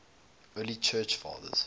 early church fathers